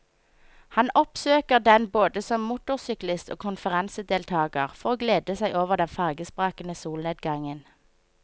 Han oppsøker den både som motorsyklist og konferansedeltager for å glede seg over den farvesprakende solnedgangen.